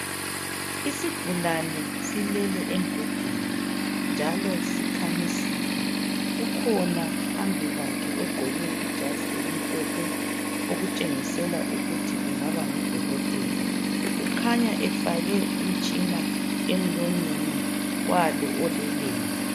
Isigulane silele embhedeni, njalo sikhamisile. Kukhona phambi kwakhe ogqoke ijazi elimhlophe okutshengisela ukuthi engaba ngudokotela. Kukhanya efake umtshina emlonyeni walo oleleyo.